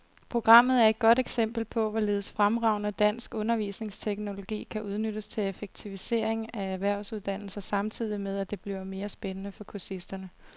Programmet er et godt eksempel på, hvorledes fremragende dansk undervisningsteknologi kan udnyttes til effektivisering af erhvervsuddannelser samtidig med, at det bliver mere spændende for kursisterne.